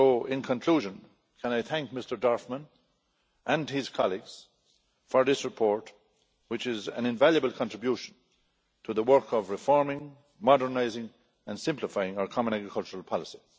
In conclusion, can I thank Mr Dorfmann and his colleagues for this report, which is an invaluable contribution to the work of reforming, modernising and simplifying our common agricultural policy.